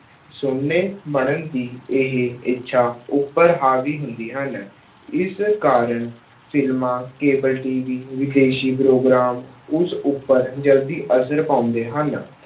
ਬਣਨ ਦੀ ਇਹ ਇੱਛਾ, ਉੱਪਰ ਹਾਵੀ ਹੁੰਦੀ ਹਨ। ਇਸ ਕਾਰਨ ਫ਼ਿਲਮਾਂ, cable TV ਵਿਦੇਸ਼ੀ ਪ੍ਰੋਗਰਾਮ, ਉਸ ਉੱਪਰ ਜਲਦੀ ਅਸਰ ਪਾਉਂਦੇ ਹਨ।